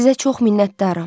Sizə çox minnətdaram.